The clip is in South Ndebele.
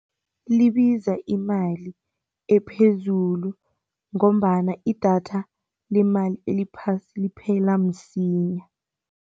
Libiza imali ephezulu ngombana idatha lemali eliphasi liphela msinya.